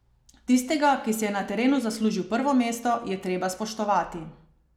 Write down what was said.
Tistega, ki si je na terenu zaslužil prvo mesto, je treba spoštovati.